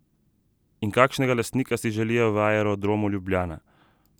In kakšnega lastnika si želijo v Aerodromu Ljubljana?